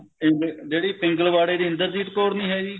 ਪਿੰਗ ਜਿਹੜੀ ਪਿੰਗਲਵਾੜੇ ਦੀ ਇੰਦਰਜੀਤ ਕੋਰ ਨੀ ਹੈ ਜ਼ੀ